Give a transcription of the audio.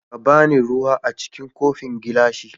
Ka ba ni ruwa a cikin kofin gilashin.